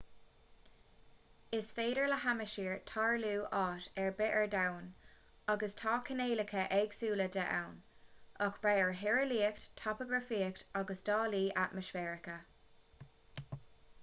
is féidir le hadhaimsir tarlú áit ar bith ar domhan agus tá cineálacha éagsúla de ann ag brath ar thíreolaíocht topagrafaíocht agus dálaí atmaisféaracha